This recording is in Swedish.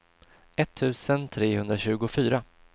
etttusen trehundratjugofyra